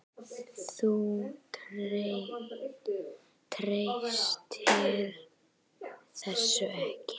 Þú treystir þessu ekki?